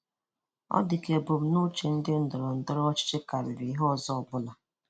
Ọ dị ka ebùmnùchè nke ndọrọ̀ ndọrọ̀ ọchịchị karírị̀ ihe òzò ọ̀bụ́la.